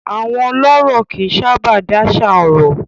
Àwọn ọlọ́rọ̀ kì í sábà dáṣà ọ̀rọ̀.